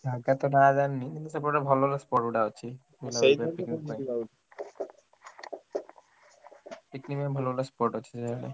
ହାଁ କେତେ ଟଙ୍କା ଜାଣିନି କିନ୍ତୁ ସେପଟେ ଭଲ ଭଲ spot ଗୁଡା ଅଛି picnic ପାଇଁ ଭଲ ଭଲ spot ଅଛି ସେଇଆଡେ।